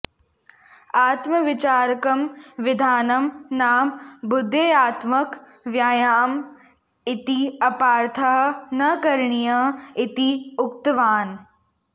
आत्मविचारकं विधानं नाम बुद्ध्यात्मक व्यायामः इति अपार्थः न करणीयः इति उक्तवान्